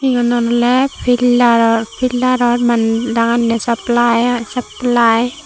eunot oleh pilter or pilter or mann dagonney saplai ai saplai.